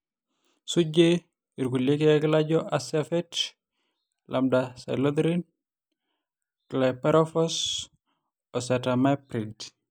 sujie irkulie keek laijo Acephate, Lambda-Cyhalothrin, Chlorypirifos o Acetamiprid